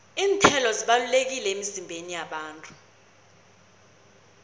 iinthelo zibalulekile emizimbeni yabantu